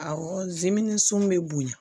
Awɔ zmin sun bɛ bonya